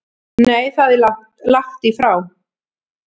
Nei það er lagt í frá